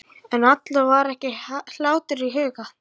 En Alla var ekki hlátur í huga.